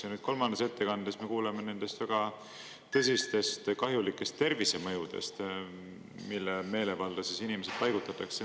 Ja nüüd kolmandas ettekandes me kuuleme nendest väga tõsistest kahjulikest tervisemõjudest, mille meelevalda siis inimesed paigutatakse.